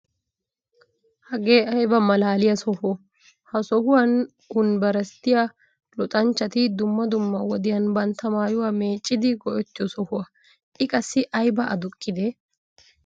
Hagee ayba malaaliya Soho? Ha sohuwan unbbersttiya luxxanchchati dumma dumma wodiyan bantta maayuwa meeccidi go'ettiyo sohuwa, I qassi ayba aduqqidee?